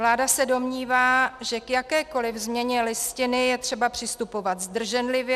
Vláda se domnívá, že k jakékoli změně Listiny je třeba přistupovat zdrženlivě.